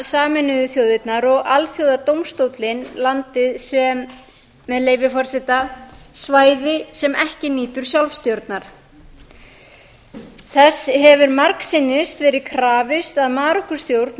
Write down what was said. sameinuðu þjóðirnar og alþjóðadómstóllinn landið sem með leyfi forseta svæði sem ekki nýtur sjálfstjórnar þess hefur margsinnis verið krafist að marokkó stjórn